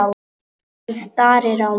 Hann starir á mig.